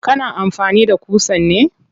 Kana amfani da ƙusan ne?